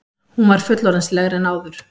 Hún var fullorðinslegri en áður.